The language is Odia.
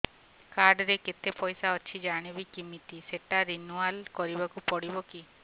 କାର୍ଡ ରେ କେତେ ପଇସା ଅଛି ଜାଣିବି କିମିତି ସେଟା ରିନୁଆଲ କରିବାକୁ ପଡ଼ିବ କି